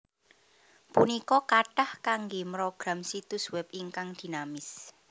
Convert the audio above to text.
punika kathah kanggé mrogram situs web ingkang dinamis